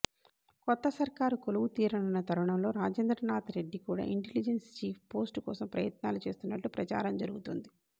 కొత్త సర్కారు కొలువు తీరనున్న తరుణంలో రాజేంద్రనాథ్రెడ్డి కూడా ఇంటెలిజెన్స్ చీఫ్ పోస్టు కోసం ప్రయత్నాలు చేస్తున్నట్టు ప్రచారం జరుగుతోంది